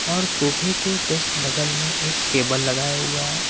और सोफे के जस्ट बगल में एक टेबल लगाया हुआ है।